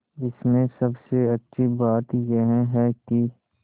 इसमें सबसे अच्छी बात यह है कि